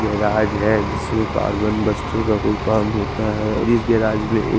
garage है जिसमे carbon buster का कोई काम होता है अभी गेराज मे एक--